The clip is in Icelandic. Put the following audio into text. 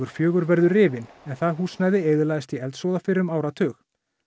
fjórum verður rifinn en það húsnæði eyðilagðist í eldsvoða fyrir um áratug